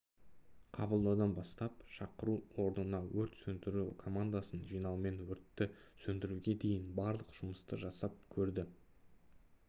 қабылдаудан бастап шақыру орнына өрт сөндіру командасын жинаумен өртті сөндіруге дейін барлық жұмысты жасап көрді